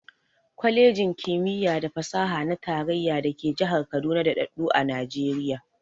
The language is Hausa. Kwalejin ƙimiya da fasaha na tarayya da ke jihar Kaduna daɗaɗɗu a Najiriya.